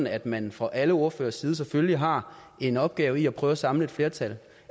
at man fra alle ordføreres side selvfølgelig har en opgave i at prøve at samle et flertal